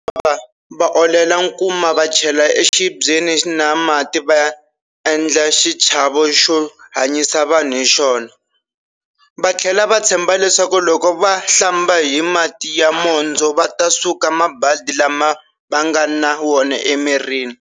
Va olela nkuma va chela exibyeni na mati va endla xichavo xo hanyisa vanhu hi xona, va tlhela va tshemba leswaku loko va hlamba hi mati ya mondzo va ta suka mabadi lama va nga na wona emirini.